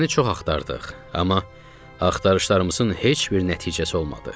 Səni çox axtardıq, amma axtarışlarımızın heç bir nəticəsi olmadı.